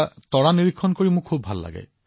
তৰা নিৰীক্ষণ কৰিবলৈ মই বৰ ভাল পাইছিলো